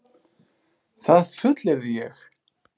Það fullyrði ég.